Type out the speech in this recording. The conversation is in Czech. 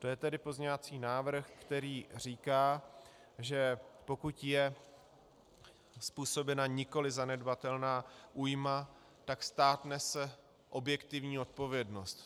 To je tedy pozměňovací návrh, který říká, že pokud je způsobena nikoliv zanedbatelná újma, tak stát nese objektivní odpovědnost.